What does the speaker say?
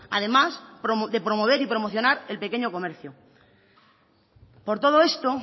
además de promover y promocionar el pequeño comercio por todo esto